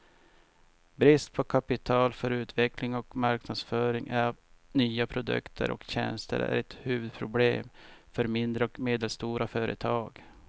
Brist på kapital för utveckling och marknadsföring av nya produkter och tjänster är ett huvudproblem för mindre och medelstora företag.